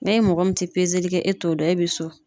N'e mɔgɔ min tɛ pezeli kɛ e t'o dɔn e bɛ so.